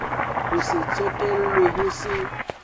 ho se tsotellwe ho se